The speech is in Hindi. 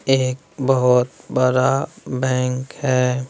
एक बहुत बरा बैंक है।